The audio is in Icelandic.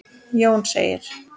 Jón segir